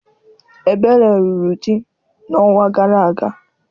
Ebere lụrụ di n'ọnwa gara aga.